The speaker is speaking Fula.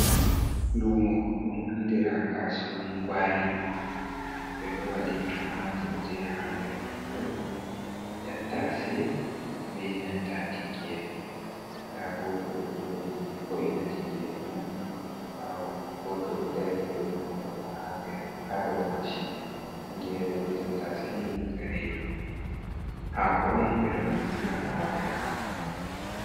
Lumo ɗum andira kasuwan gwari, ɓe ɗo waɗi tummaturje ha nder kondo, tattase be nanta tingere, nda goto ɗo joɗi vo’ina tingere man, goto ɗo dari goto man bo oɗo ha dow machin, tingere be tattase ni ɗum kare hako on ɓe ɗo naftira ngam waɗe hako.